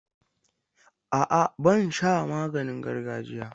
A'a, ban sha maganin gargajiya.